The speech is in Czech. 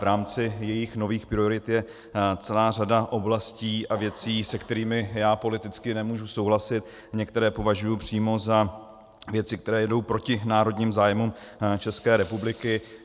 V rámci jejích nových priorit je celá řada oblastí a věcí, se kterými já politicky nemůžu souhlasit, některé považuji přímo za věci, které jdou proti národním zájmům České republiky.